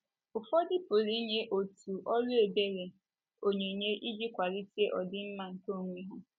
Ụfọdụ pụrụ inye òtù ọrụ ebere, onyinye iji kwalite ọdịmma nke onwe ha.